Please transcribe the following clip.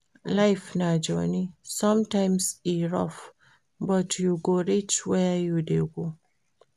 Life na journey, sometimes e rough, but you go reach where you dey go.